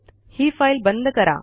ही file बंद करा